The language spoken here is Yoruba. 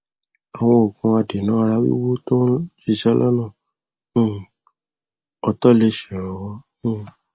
àwọn òògùn adènà ara wíwú tó ń ṣiṣẹ lọnà um ọtọlẹ ṣèrànwọ um